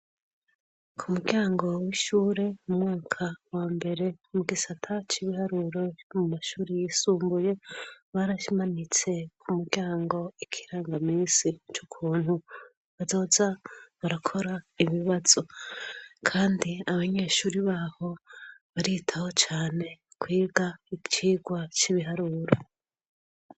Ku muryango w'ishure mu mwaka wa mbere mu gisata c'ibiharuro mu mashuri yisumbuye, barakimanitse ku muryango ikirangamisi c'ukuntu bazoza barakora ibibazo, kandi abanyeshuri baho baritaho cane kwiga icigwa c'ibiharuro.